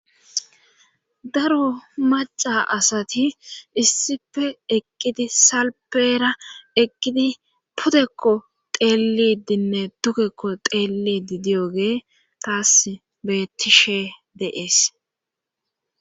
daro maca asati issife eqqidi salpeera eqqidi putekko teelidinne dukekko teellidi diyoge taas bettishe deees